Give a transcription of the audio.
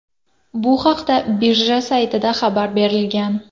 Bu haqda birja saytida xabar berilgan .